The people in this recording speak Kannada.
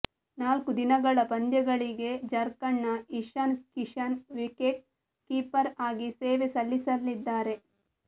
ನಾಲ್ಕು ದಿನಗಳ ಪಂದ್ಯಗಳಿಗೆ ಝಾರ್ಕಂಡ್ನ ಇಶಾನ್ ಕಿಶನ್ ವಿಕೆಟ್ ಕೀಪರ್ ಆಗಿ ಸೇವೆ ಸಲ್ಲಿಸಲಿದ್ದಾರೆ